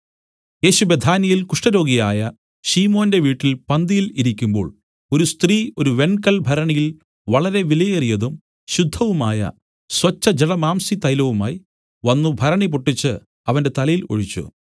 യേശു ബേഥാന്യയിൽ കുഷ്ഠരോഗിയായ ശിമോന്റെ വീട്ടിൽ പന്തിയിൽ ഇരിക്കുമ്പോൾ ഒരു സ്ത്രീ ഒരു വെങ്കൽഭരണിയിൽ വളരെ വിലയേറിയതും ശുദ്ധവുമായ സ്വച്ഛജടാമാംസി തൈലവുമായി വന്നു ഭരണി പൊട്ടിച്ച് അവന്റെ തലയിൽ ഒഴിച്ചു